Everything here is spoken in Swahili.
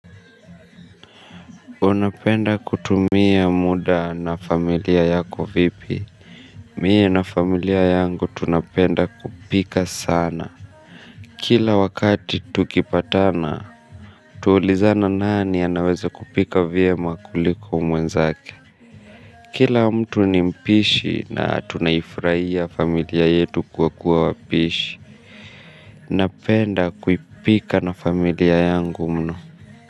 Unapenda kutumia muda na familia yako vipi? Mie na familia yangu tunapenda kupika sana. Kila wakati tukipatana, twaulizana nani anaweze kupika vya makuliku mwenzake. Kila mtu ni mpishi na tunaifuraia familia yetu kwa kuwa wapishi. Napenda kupika na familia yangu mno.